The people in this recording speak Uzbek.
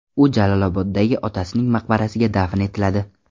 U Jaloloboddagi otasining maqbarasiga dafn etiladi.